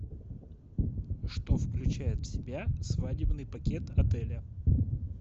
что включает в себя свадебный пакет отеля